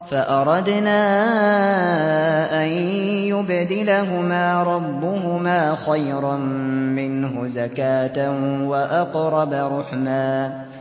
فَأَرَدْنَا أَن يُبْدِلَهُمَا رَبُّهُمَا خَيْرًا مِّنْهُ زَكَاةً وَأَقْرَبَ رُحْمًا